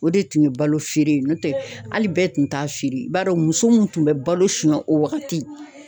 O de tun ye balo feere no tɛ ali bɛɛ tun t'a feere i b'a dɔn muso min tun bɛ balo suɲɛ o wagati